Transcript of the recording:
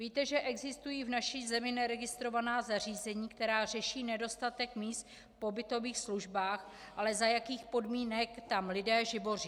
Víte, že existují v naší zemi neregistrovaná zařízení, která řeší nedostatek míst v pobytových službách - ale za jakých podmínek tam lidé živoří?